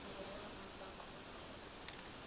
borwa a ka kgona go